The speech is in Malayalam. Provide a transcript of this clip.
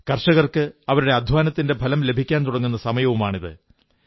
കർഷകർക്ക് അവരുടെ അധ്വാനത്തിന്റെ ഫലം ലഭിക്കാൻ തുടങ്ങുന്ന സമയവുമാണിത്